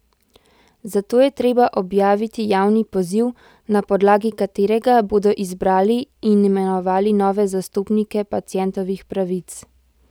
Zato je treba objaviti javni poziv, na podlagi katerega bodo izbrali in imenovali nove zastopnike pacientovih pravic.